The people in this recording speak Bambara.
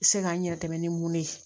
Se k'an yɛrɛ dɛmɛ ni mun de ye